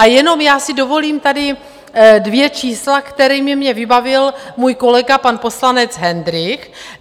A jenom já si dovolím tady dvě čísla, kterými mě vybavil můj kolega, pan poslanec Hendrych.